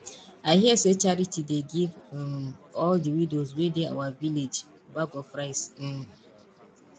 i hear say charity dey give um all the widows wey dey our village bag of rice um